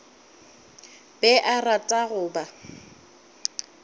be a rata go ba